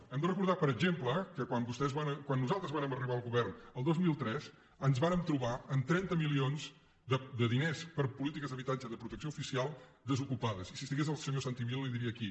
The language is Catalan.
hem de recordar per exemple que quan nosaltres vàrem arribar al govern el dos mil tres ens vàrem trobar amb trenta milions de diners per a polítiques d’habitatge de protecció oficial desocupades i si hi estigués el senyor santi vila li ho diria aquí